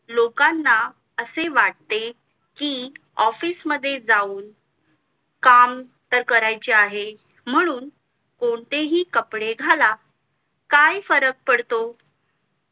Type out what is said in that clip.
लोकांना असे वाटे कि office मध्ये जाऊन काम तर करायचं आहे म्हणून कोणतेही कपडे घाला काय फरक पडतो